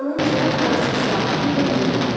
Yanınca fransız zabiti və Mür gəlirdi.